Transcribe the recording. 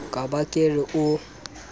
ka ba ke re o